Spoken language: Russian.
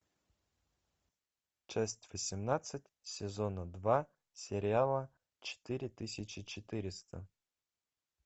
часть восемнадцать сезона два сериала четыре тысячи четыреста